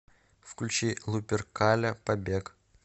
включи луперкаля побег